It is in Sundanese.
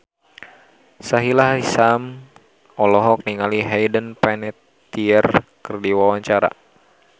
Sahila Hisyam olohok ningali Hayden Panettiere keur diwawancara